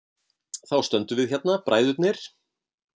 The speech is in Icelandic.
Þá stöndum við hérna bræðurnir.